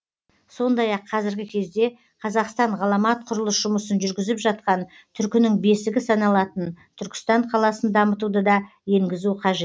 сондай ақ қазіргі кезде қазақстан ғаламат құрылыс жұмысын жүргізіп жатқан түркінің бесігі саналатын түркістан қаласын дамытуды да енгізу қажет